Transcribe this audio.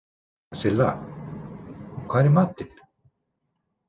Silla, hvað er í matinn?